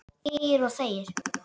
Þegir og þegir.